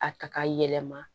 A ta ka yɛlɛma